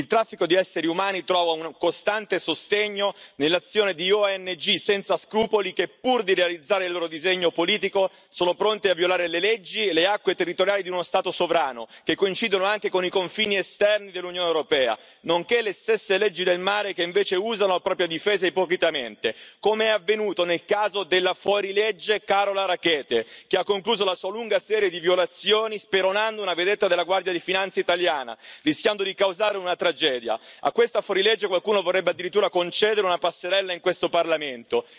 Il traffico di esseri umani trova un costante sostegno nell'azione di ONG senza scrupoli che, pur di realizzare il loro disegno politico, sono pronte a violare le leggi e le acque territoriali di uno Stato sovrano, che coincidono anche con i confini esterni dell'Unione europea, nonché le stesse leggi del mare e che, invece, usano la propria difesa ipocritamente, come è avvenuto nel caso della fuorilegge Carola Rackete, che ha concluso la sua lunga serie di violazioni speronando una vedetta della Guardia di Finanza italiana, rischiando di causare una tragedia. A questa fuorilegge qualcuno vorrebbe addirittura concedere una passerella in questo Parlamento.